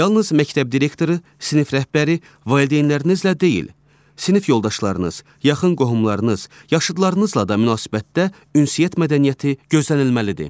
Yalnız məktəb direktoru, sinif rəhbəri, valideynlərinizlə deyil, sinif yoldaşlarınız, yaxın qohumlarınız, yaşıdlarınızla da münasibətdə ünsiyyət mədəniyyəti gözlənilməlidir.